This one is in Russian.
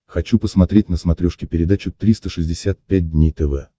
хочу посмотреть на смотрешке передачу триста шестьдесят пять дней тв